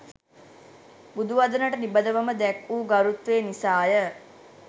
බුදු වදනට නිබඳවම දැක් වූ ගරුත්වය නිසාය